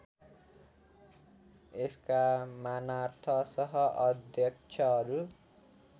यसका मानार्थ सहअध्यक्षहरू